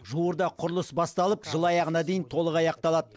жуырда құрылыс басталып жыл аяғына дейін толық аяқталады